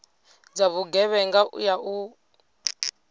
dza vhugevhenga u ya nga